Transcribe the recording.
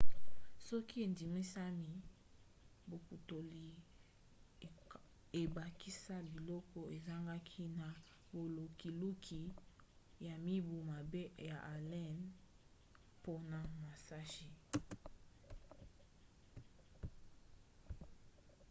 soki endimisami bokundoli ebakisa biloko ezangaki na bolukiluki ya mibu mwambe ya allen mpona musashi